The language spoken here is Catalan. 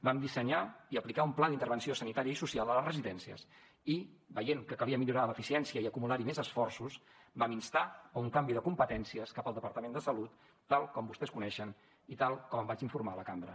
vam dissenyar i aplicar un pla d’intervenció sanitària i social a les residències i veient que calia millorar l’eficiència i acumular hi més esforços vam instar un canvi de competències cap al departament de salut tal com vostès coneixen i tal com en vaig informar la cambra